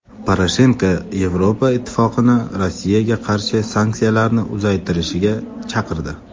Poroshenko Yevropa Ittifoqini Rossiyaga qarshi sanksiyalarni uzaytirishga chaqirdi.